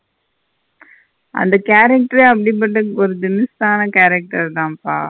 அந்த character யே அப்படிப்பட்ட ஒரு தினுசான character தப்பா.